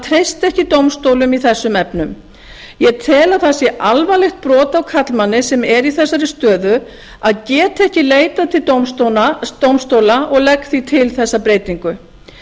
treysta ekki dómstólum í þessum efnum ég tel að það sé alvarlegt brot á karlmanni sem er í þessari stöðu að geta ekki leitað til dómstóla og legg því til þessa breytingu